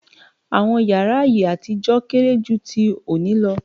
Àwọn yàrá ayé àtijọ́ kéré jú tí òní lọ.